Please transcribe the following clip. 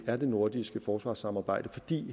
er det nordiske forsvarssamarbejde fordi